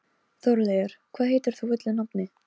Þórleifur, hvað heitir þú fullu nafni?